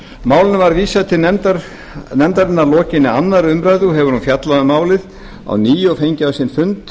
málinu var vísað til nefndarinnar að lokinni annarri umræðu og hefur hún fjallað um málið á ný og fengið á sinn fund